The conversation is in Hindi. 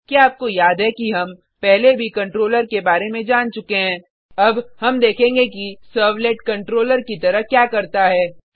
क्या आपको याद है कि हम पहले भी कंट्रोलर के बारे में जान चुके हैं अब हम देखेंगे कि सर्वलेट कंट्रोलर की तरह क्या करता है